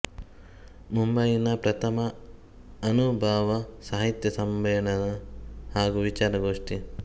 ಮುಂಬಯಿನ ಪ್ರಥಮ ಅನುಭಾವ ಸಾಹಿತ್ಯ ಸಮ್ಮೇಳನ ಹಾಗೂ ವಿಚಾರ ಗೋಷ್ಠಿ